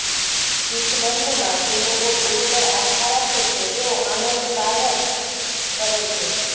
શીખ ધર્મમાં જે લોકો ગુરુ પર આસ્થા રાખે છે તેઓ આનંદ કારજ કરે છે